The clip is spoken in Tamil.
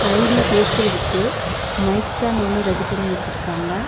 சைடுல பேசுறதுக்கு மைக் ஸ்டேண்டு ஒன்னு ரெடி பண்ணி வெச்சிருக்காங்க.